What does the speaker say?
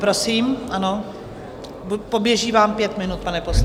Prosím - ano, poběží vám pět minut, pane poslanče.